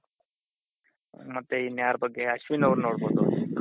ಮತ್ತೆ ಇನ್ ಯಾರ ಬಗ್ಗೆ ಅಶ್ವಿನ್ ಅವೃನ್ ನೋಡ್ಬೋದು